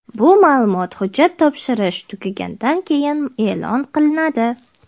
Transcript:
Bu ma’lumot hujjat topshirish tugagandan keyin e’lon qilinadi.